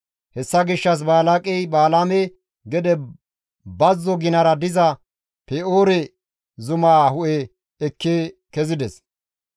Hessa gishshas Balaaqey Balaame gede bazzo ginara diza Pe7oore zumaa hu7e ekki kezides.